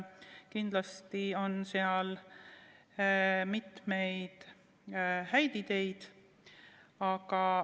Kindlasti on seal mitmeid häid ideid.